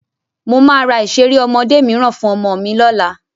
Mo máa ra ìṣeré ọmọdé mìíràn fún ọmọ mi lọ́la.